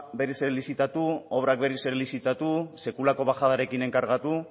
berriz ere lizitatu obrak berriz ere lizitatu sekulako bajadarekin enkargatu